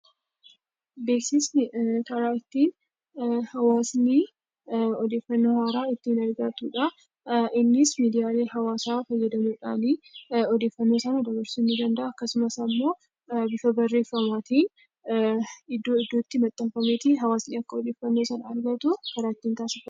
Beeksisni karaa ittiin hawaasni odeeffannoo haaraa ittiin argatudha. Innis miidiyaalee hawaasaa fayyadamuudhaan odeeffannoo sana dabarsuu ni danda'a akkasumas immoo bifa barreeffamaatiin iddoo iddootti maxxanfameetu hawaasni akka odeeffannoo sana argatu taasifama.